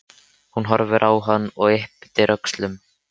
Hún horfir á hann og ypptir öxlum.